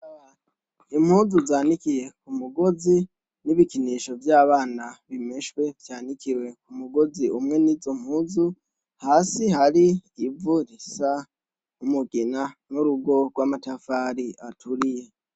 Impuzu zanikiye ku mugozi, n'ibikinisho vy'abana, zimeshwe, zanikiwe ku mugozi umwe n'izo mpuzu. Hasi hari ivu risa ry'umugina n'urugo rw'amatafari aturiye.